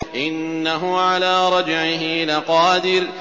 إِنَّهُ عَلَىٰ رَجْعِهِ لَقَادِرٌ